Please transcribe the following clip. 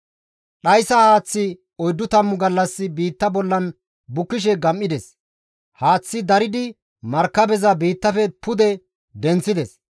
Dhayssa haaththi oyddu tammu gallas biitta bolla bukkishe gam7ides; haaththi daridi, markabeza biittafe pude denththides.